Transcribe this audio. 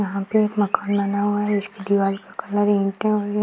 यहाँ पे एक मकान बना हुआ है जिसकी दिवाल का कलर ईंटे और ये --